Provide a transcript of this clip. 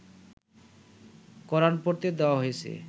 কোরান পড়তে দেওয়া হয়েছে